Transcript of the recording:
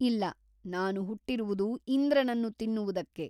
ಇಲ್ಲ ನಾನು ಹುಟ್ಟಿರುವುದು ಇಂದ್ರನನ್ನು ತಿನ್ನುವುದಕ್ಕೆ.